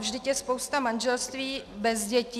Vždyť je spousta manželství bez dětí.